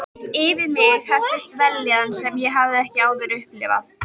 Yfir mig helltist vellíðan sem ég hafði ekki áður upplifað.